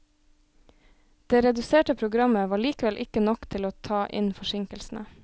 Det reduserte programmet var likevel ikke nok til å ta inn forsinkelsene.